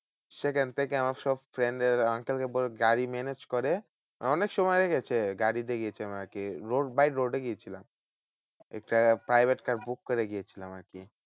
সেখান থেকে আমরা সব friend এর uncle কে বলে গাড়ি manage করে অনেক সময় হয়ে গেছে গাড়ি দেখেছিলাম আরকি road by road এ গিয়েছিলাম। একটা private car book করে গিয়েছিলাম আরকি।